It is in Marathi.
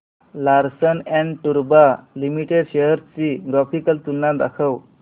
लार्सन अँड टुर्बो लिमिटेड शेअर्स ची ग्राफिकल तुलना दाखव